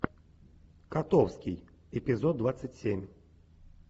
котовский эпизод двадцать семь